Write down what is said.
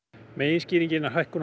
meginskýringin er hækkun á